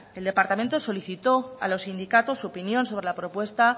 el departamento solicitó a los sindicatos su opinión sobre la propuesta